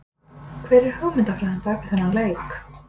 Hver er hugmyndafræðin bakvið þennan leik?